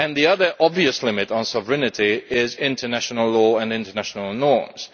The other obvious limit on sovereignty is international law and international norms.